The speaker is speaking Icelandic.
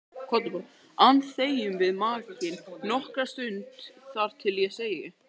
an þegjum við nakin nokkra stund, þar til ég segi